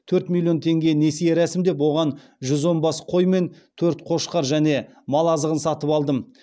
төрт миллион теңге несие рәсімдеп оған жүз он бас қой мен төрт қошқар және мал азығын сатып алдым